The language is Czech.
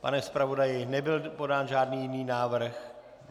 Pane zpravodaji, nebyl podán žádný jiný návrh?